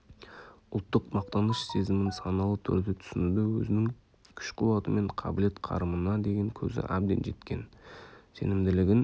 ұлттық мақтаныш сезімін саналы түрде түсінуді өзінің күш-қуаты мен қабілет-қарымына деген көзі әбден жеткен сенімділігін